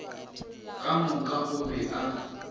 ka moka o be a